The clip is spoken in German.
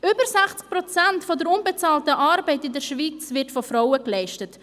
Über 60 Prozent der unbezahlten Arbeit in der Schweiz wird von Frauen geleistet.